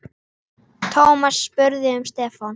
Thomas spurði um Stefán.